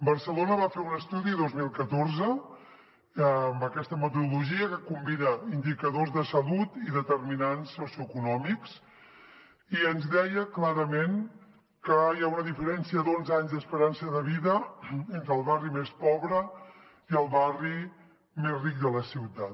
barcelona va fer un estudi el dos mil catorze amb aquesta metodologia que combina indicadors de salut i determinants socioeconòmics i ens deia clarament que hi ha una diferència d’onze anys d’esperança de vida entre el barri més pobre i el barri més ric de la ciutat